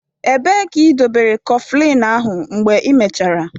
Ebee ka ịdobere Kọflịn ahụ mgbe ị mechaara?